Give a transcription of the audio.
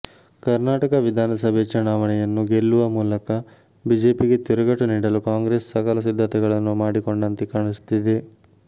ಕರ್ನಾಟಕ ವಿಧಾನಸಭೆ ಚುನಾವಣೆಯನ್ನು ಗೆಲ್ಲುವ ಮೂಲಕ ಬಿಜೆಪಿ ಗೆ ತಿರುಗೇಟು ನೀಡಲು ಕಾಂಗ್ರೆಸ್ ಸಕಲ ಸಿದ್ಧತೆಗಳನ್ನು ಮಾಡಿಕೊಂಡಂತೆ ಕಾಣಿಸುತ್ತಿದೆ